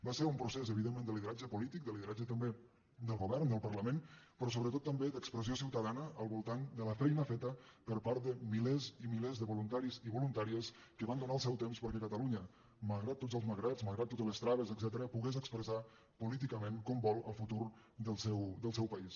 va ser un procés evidentment de lide·ratge polític de lideratge també del govern del par·lament però sobretot també d’expressió ciutadana al voltant de la feia feta per part de milers i milers de vo·luntaris i voluntàries que van donar el seu temps per·què catalunya malgrat tots els malgrats malgrat to·tes les traves etcètera pogués expressar políticament com vol el futur del seu país